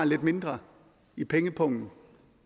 lidt mindre i pengepungen